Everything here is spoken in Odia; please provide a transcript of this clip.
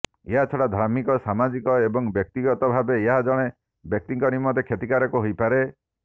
ଏହାଛଡ଼ା ଧାର୍ମିକ ସାମାଜିକ ଏବଂ ବ୍ୟକ୍ତିଗତ ଭାବେ ଏହା ଜଣେ ବ୍ୟକ୍ତିଙ୍କ ନିମନ୍ତେ କ୍ଷତିକାରକ ହୋଇ ପାରେ